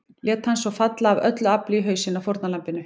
Lét hann svo falla AF ÖLLU AFLI í hausinn á fórnarlambinu.